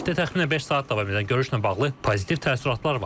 Ümumilikdə təxminən beş saat davam edən görüşlə bağlı pozitiv təəssüratlar var.